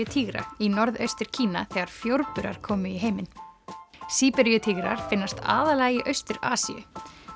Síberíutígra í Norðaustur Kína þegar komu í heiminn finnast aðallega í Austur Asíu